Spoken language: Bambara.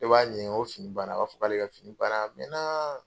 E b'a ɲininga ko fini banna? A b'a fɔ ko k'ale ka fini banna a mɛnna.